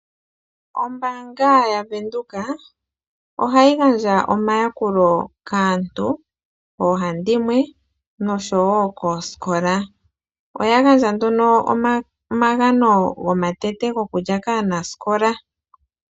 Ombaanga ya Venduka ohayi gandja omayakulo kaantu oohandimwe noshowo koosikola. Oya gandja nduno omagano gomatete gokulya kaanasikola.